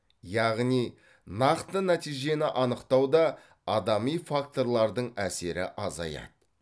яғни нақты нәтижені анықтауда адами факторлардың әсері азаяды